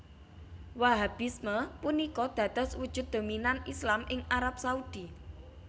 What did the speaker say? Wahhabisme punika dados wujud dominan Islam ing Arab Saudi